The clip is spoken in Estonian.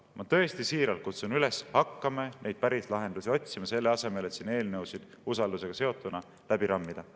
Ma tõesti siiralt kutsun üles: hakkame neid päris lahendusi otsima, selle asemel et siin eelnõusid usaldusega seotuna läbi rammida.